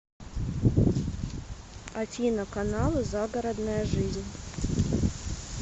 афина каналы загородная жизнь